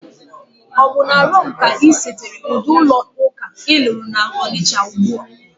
Obu na Rome ka isetere udi ulo-uka ilulu na Onitcha-Ugbo?